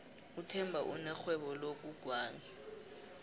uthemba unerhwebo lokugwala